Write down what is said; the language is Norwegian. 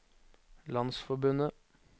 landsforbundet